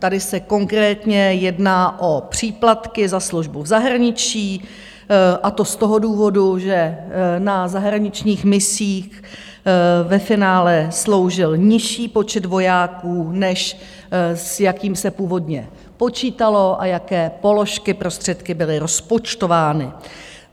Tady se konkrétně jedná o příplatky za službu v zahraničí, a to z toho důvodu, že na zahraničních misích ve finále sloužil nižší počet vojáků, než s jakým se původně počítalo a jaké položky prostředky byly rozpočtovány.